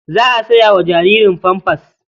Za a saya ma jaririn famfas.